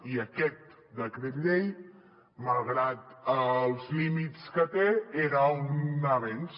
i aquest decret llei malgrat els límits que té era un avenç